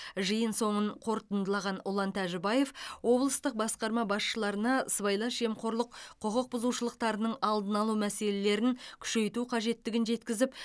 жиын соңын қортындылаған ұлан тәжібаев облыстық басқарма басшыларына сыбайлас жемқорлық құқықбұзушылықтарының алдын алу мәселелерін күшейту қажеттігін жеткізіп